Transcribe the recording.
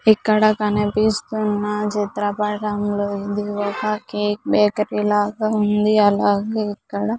ఇక్కడ కనిపిస్తున్న చిత్రపటంలో ఇది ఒక కేక్ బేకరీ లాగా ఉంది అలాగే ఇక్కడ --